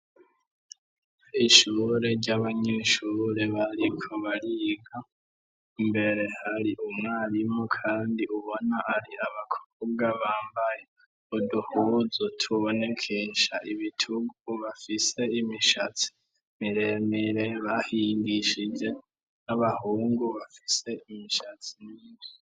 ishure ry'abanyeshure bariko bariga mbere hari umwarimu kandi ubona ari abakobwa bambaye uduhuzu tubonekesha ibitugu bafise imishatsi miremire bahindishije n'abahungu bafise imishatsi myinshi